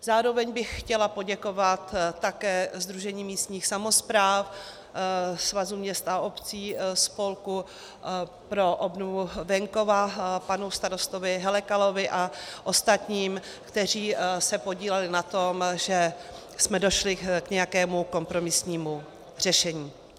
Zároveň bych chtěla poděkovat také Sdružení místních samospráv, Svazu měst a obcí, Spolku pro obnovu venkova, panu starostovi Helekalovi a ostatním, kteří se podíleli na tom, že jsme došli k nějakému kompromisnímu řešení.